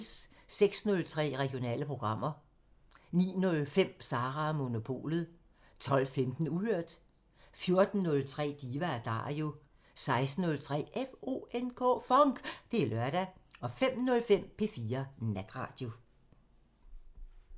06:03: Regionale programmer 09:05: Sara & Monopolet 12:15: Uhørt 14:03: Diva & Dario 16:03: FONK! Det er lørdag 05:03: P4 Natradio